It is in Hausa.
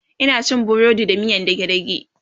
Ina cin burodi da miyan dage dage